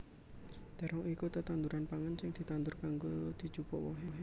Térong iku tetanduran pangan sing ditandur kanggo dijupuk wohé